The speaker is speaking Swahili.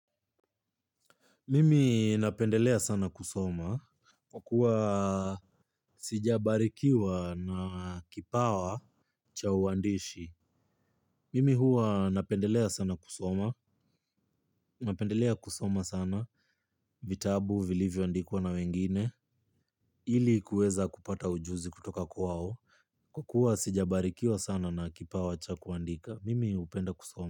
Mimi napendelea sana kusoma kwa kuwa sijabarikiwa na kipawa cha uandishi. Mimi huwa napendelea sana kusoma. Napendelea kusoma sana vitabu, vilivyo andikwa na wengine ili kuweza kupata ujuzi kutoka kwao. Kwa kuwa sijabarikiwa sana na kipawa cha kuandika, mimi hupenda kusoma.